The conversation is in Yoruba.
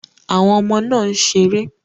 Àwọn ọmọ náà ń ṣeré.